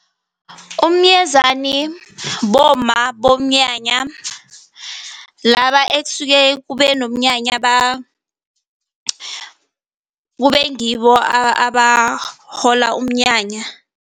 Umyezani bomma bomnyanya, laba ekusuke kube nomnyanya kube ngibo abahola umnyanya.